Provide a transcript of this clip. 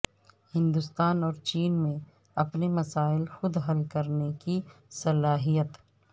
ہندوستان اور چین میں اپنے مسائل خود حل کرنے کی صلاحیت